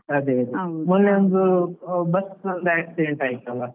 ಅದೇ ಅದೇ ಒಂದು bus ನಲ್ಲಿ accident ಆಯ್ತಲ್ಲ.